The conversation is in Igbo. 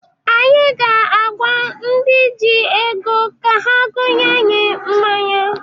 Anyị ga-agwa ndị ji ego ka ha gonye anyị mmanya.